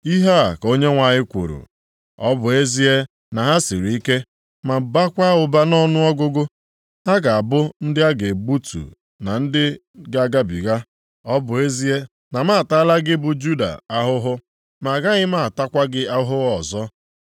Ihe a ka Onyenwe anyị kwuru, “Ọ bụ ezie na ha siri ike, ma bakwaa ụba nʼọnụọgụgụ, ha ga-abụ ndị a ga-egbutu na ndị ga-agabiga. Ọ bụ ezie na m ataala gị bụ Juda ahụhụ, ma agaghị m atakwa gị ahụhụ ọzọ.